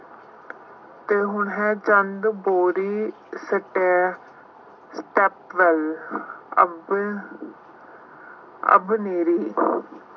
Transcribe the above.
ਅਤੇ ਹੁਣ ਹੈ